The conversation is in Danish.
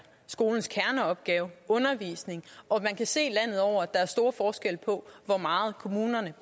skolens kerneopgave og man kan se landet over at der er stor forskel på hvor meget kommunerne